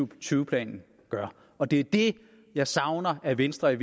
og tyve planen gør og det er det jeg savner at venstre i